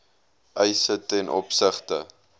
eise ten opsigte